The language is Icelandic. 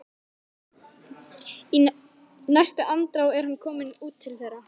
Í næstu andrá er hann kominn út til þeirra.